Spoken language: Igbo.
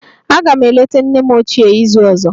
Aga m eleta nne m ochie n'izu ọzọ.